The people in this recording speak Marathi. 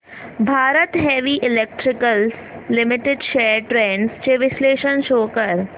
Bharat heavy electricals limited shares trends चे विश्लेषण शो कर